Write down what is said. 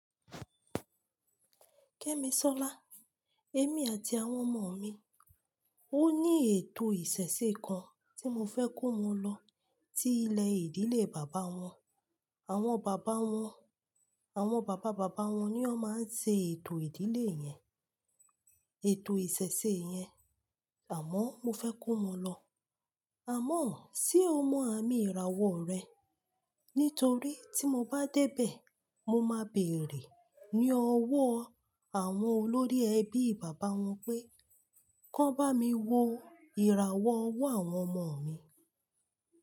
Kẹ́miṣọ́lá, èmi àti àwọn ọmọ mi, ó ní ètò ìṣẹ̀ṣẹ̀ kan tí mo fẹ́ kó wọn lọ ti ilé ìdílé bàbá wọn. Àwọn bàbá wọn, àwọn bàbá bàbá wọn ni ó máa ń ṣe ètò ìdílé yẹn, ètò ìṣẹ̀ṣẹ̀ yẹn. Àmọ́ mo fẹ́ kó wọn lọ. Àmọ́ ṣé o mọ àmì ìràwọ̀ rẹ̀? Nítorí tí mo bá dé bẹ̀, mo máa bèèrè ní ọwọ́ àwọn olórí ẹbí bàbá wọn pé, kí wọ́n bá mi wo ìràwọ̀ ọwọ́ àwọn ọmọ mi.